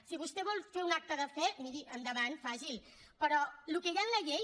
si vostè vol fer un acte de fe miri endavant faci’l però el que hi ha en la llei